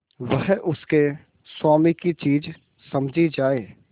वह उसके स्वामी की चीज समझी जाए